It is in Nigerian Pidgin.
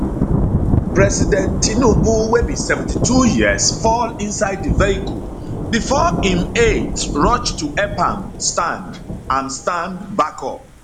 president tinubu wey be 72 years fall inside di vehicle bifor im aides rush to help am stand am stand back up